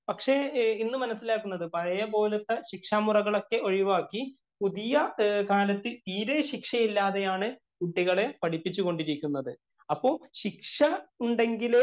പക്ഷേ ഇന്ന് മനസിലാക്കുന്നത് പഴയപോലത്തെ ശിക്ഷാ മുറകളൊക്കെ ഒഴിവാക്കി പുതിയ കാലത്ത് തീരെ ശിക്ഷയില്ലാതെയാണ് കുട്ടികളെ പഠിപ്പിച്ചു കൊണ്ടിരിക്കുന്നത്. അപ്പൊ ശിക്ഷ ഉണ്ടെങ്കിലേ